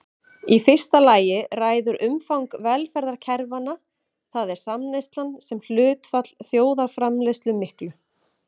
Í fyrsta lagi ræður umfang velferðarkerfanna, það er samneyslan sem hlutfall þjóðarframleiðslu miklu.